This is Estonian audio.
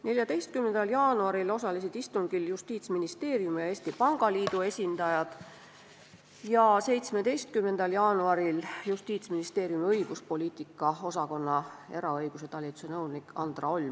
14. jaanuaril osalesid istungil Justiitsministeeriumi ja Eesti Pangaliidu esindajad ning 17. jaanuaril Justiitsministeeriumi õiguspoliitika osakonna eraõiguse talituse nõunik Andra Olm.